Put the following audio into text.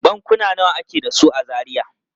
Bankuna nawa ake da su a Zaria?